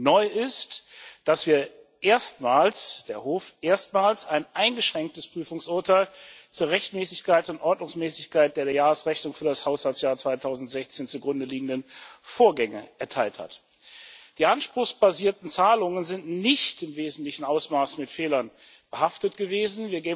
Neu ist, dass der Hof erstmals ein eingeschränktes Prüfungsurteil zur Rechtmäßigkeit und Ordnungsmäßigkeit der der Jahresrechnung für das Haushaltsjahr 2016 zugrundeliegenden Vorgänge erteilt hat. Die anspruchsbasierten Zahlungen sind nicht in wesentlichem Ausmaß mit Fehlern behaftet gewesen.